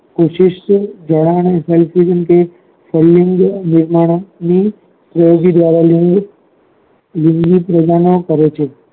કોશિશ જણાવી હોય તો સ્વયંમ માણસ ની ઓજરી આવેલી હોય છે વિવિધ તેમે કરે છે